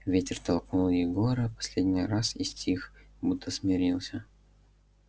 ветер толкнул егора последний раз и стих будто смирился